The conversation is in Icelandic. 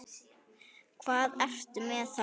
Hvað ertu með þarna?